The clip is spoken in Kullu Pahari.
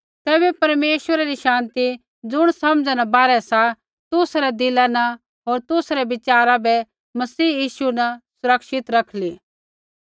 तैबै परमेश्वरै री शान्ति ज़ुण समझा न बाहरै सा तुसा रै दिला न होर तुसा रै विचारा बै मसीह यीशु न सुरक्षित रखली